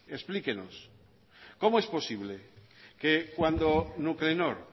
explíquenos cómo es posible que cuando nuclenor